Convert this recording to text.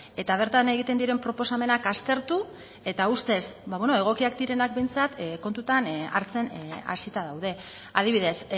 eta bertan egiten diren proposamenak aztertu eta ustez egokiak direnak behintzat kontutan hartzen hasita daude adibidez